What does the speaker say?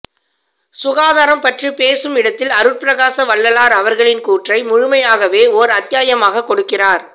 சுகாதாரம் பற்றி பேசும் இடத்தில் அருட்பிரகாச வள்ளலார் அவர்களின் கூற்றை முழுமையாகவே ஒர் அத்தியாயமாக கொடுக்கிறார்